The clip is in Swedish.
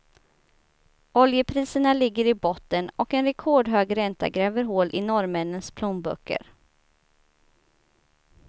Oljepriserna ligger i botten och en rekordhög ränta gräver hål i norrmännens plånböcker.